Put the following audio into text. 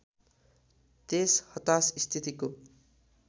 त्यस हताश स्थितिको